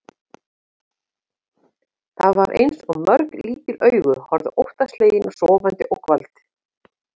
Það var eins og mörg lítil augu horfðu óttaslegin á sofandi ógnvald.